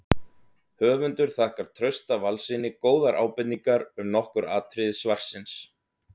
Höfundur þakkar Trausta Valssyni góðar ábendingar um nokkur atriði svarsins.